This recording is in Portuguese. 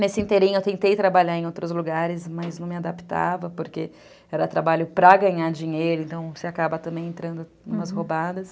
Nesse inteirinho eu tentei trabalhar em outros lugares, mas não me adaptava, porque era trabalho para ganhar dinheiro, então você acaba também entrando em umas roubadas.